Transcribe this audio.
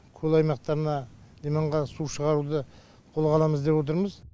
көл аймақтарына иманға су шығаруды қолға аламыз деп отырмыз